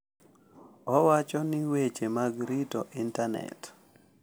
Owacho ni weche mag rito Intanet .